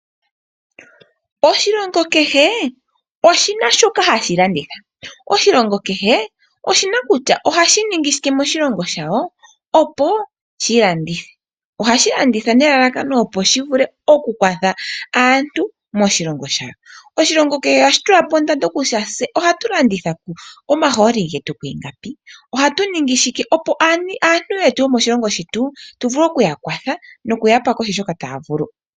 Oshilongo kehe oshina shoka hashi landitha. Oshilongo oshina kutya ohashi ningi shike moshilongo shasho opo shi landithe. Ohashi landitha nelalakano opo shivule okukwatha aantu moshilongo moka . Ohashi tulapo ondando yomahooli gayo , ohashi ningi shike opo shivule okupa oshilongo shasho omakwatho.